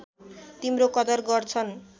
तिम्रो कदर गर्छन्